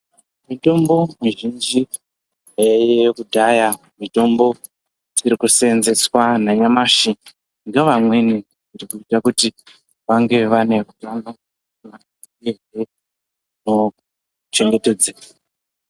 Mitombo mizhinji yaiyeyo kudhaya mitombo iri kuseenzeswa nanyamashi ngevamweni zvichibhuya kuti vange vane utano uyehe utano hwavo huchengetedzeke.